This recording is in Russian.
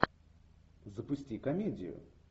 запусти комедию